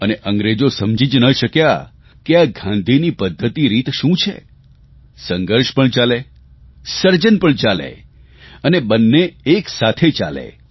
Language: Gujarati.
અને અંગ્રેજો સમજી ન જ શક્યા કે આ ગાંધીની પદ્ધતિરીત શું છે સંઘર્ષ પણ ચાલે સર્જન પણ ચાલે અને બંને એક સાથે ચાલે